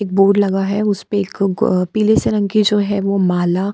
एक बोर्ड लगा है उस पे एक पीले से रंग की जो है वो माला --